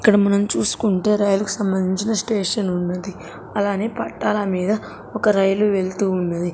ఇక్కడ మనం చూసుకుంటే రైలు కి సంబంధించిన స్టేషనున్నది అలానే పట్టాల మీద ఒక రైలు వెళ్తూ ఉన్నది.